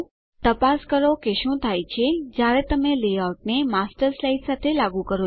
તપાસ કરો કે શું થાય છે જયારે તમે લેઆઉટને માસ્ટર સ્લાઇડ સાથે લાગુ કરો છો